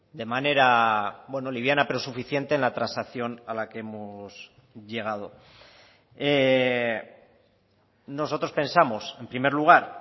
de manera liviana pero suficiente en la transacción a la que hemos llegado nosotros pensamos en primer lugar